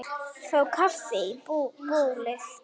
Fá kaffi í bólið.